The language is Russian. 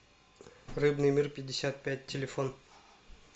рыбный мир пятьдесят пять телефон